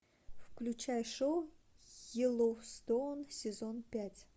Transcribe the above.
включай шоу йеллоустоун сезон пять